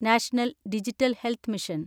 national digital health mission